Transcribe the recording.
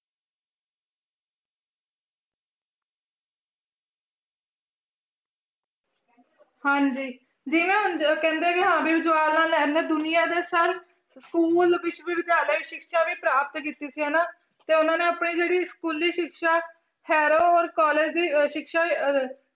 ਹਾਂਜੀ ਜਿਵੇਂ ਹੁਣ ਕਹਿੰਦੇ ਕਿ ਜਵਾਹਰ ਲਾਲ ਨਹਿਰੂ ਨੇ ਦੁਨੀਆਂ ਦੇ ਸਾਰੇ school ਵਿੱਚ ਵੀ ਵਿਦਿਆਲੇ ਸਿਕਸ਼ਾ ਵੀ ਪ੍ਰਾਪਤ ਕੀਤੀ ਸੀ ਹਨਾ ਤੇ ਉਹਨਾਂ ਨੇ ਆਪਣੀ ਜਿਹੜੀ ਸਕੂਲੀ ਸਿਕਸ਼ਾ college ਦੀ ਅਹ ਸਿਕਸ਼ਾ ਅਹ